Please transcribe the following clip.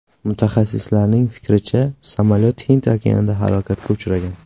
Mutaxassislarning fikricha, samolyot Hind okeanida halokatga uchragan.